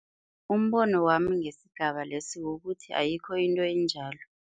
Umbono wami ngesigaba lesi kukuthi ayikho into enjalo.